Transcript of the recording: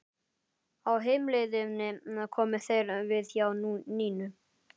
Á heimleiðinni komu þeir við hjá Nínu.